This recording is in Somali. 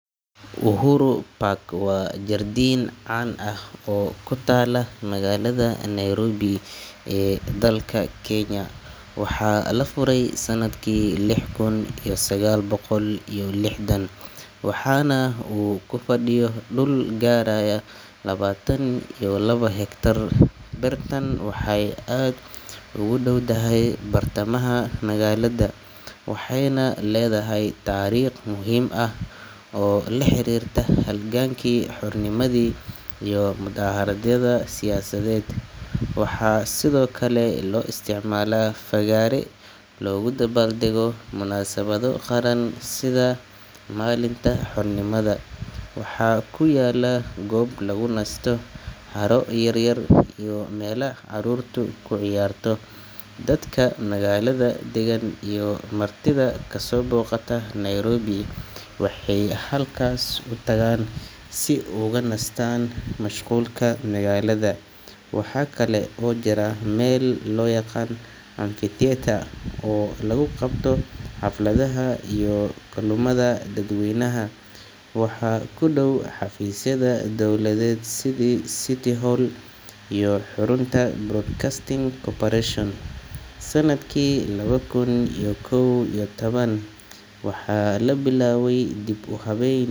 Uhuru Park waa jardiin caan ah oo ku taalla magaalada Nairobi ee dalka Kenya. Waxaa la furay sanadkii lix kun iyo sagaal boqol iyo lixdan, waxaana uu ku fadhiyo dhul gaaraya labaatan iyo labo hektar. Beertan waxay aad ugu dhowdahay bartamaha magaalada, waxayna leedahay taariikh muhiim ah oo la xiriirta halgankii xornimada iyo mudaaharaadyada siyaasadeed. Waxaa sidoo kale loo isticmaalaa fagaare loogu dabaaldego munaasabado qaran sida maalinta xornimada. Waxaa ku yaalla goob lagu nasto, haro yaryar, iyo meelo carruurtu ku ciyaarto. Dadka magaalada degan iyo martida kasoo booqata Nairobi waxay halkaas u tagaan si ay uga nastaan mashquulka magaalada. Waxa kale oo jira meel loo yaqaan amphitheatre oo lagu qabto xafladaha iyo kulamada dadweynaha. Waxaa ku dhow xafiisyada dowladeed sida City Hall iyo xarunta Kenya Broadcasting Corporation. Sanadkii laba kun iyo kow iyo toban, waxaa la bilaabay dib u habayn.